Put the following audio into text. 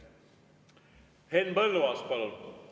Henn Põlluaas, palun!